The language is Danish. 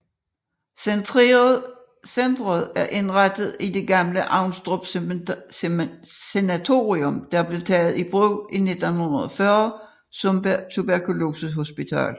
Centeret er indrettet i det gamle Avnstrup Sanatorium der blev taget i brug i 1940 som tuberkolosehospital